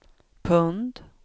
pund